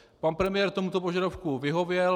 Pan premiér tomuto požadavku vyhověl.